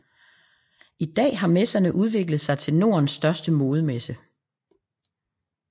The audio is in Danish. I dag har messerne udviklet sig til Nordens største modemesse